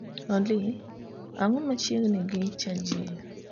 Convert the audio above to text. Olly ang'o machiegni gi chajio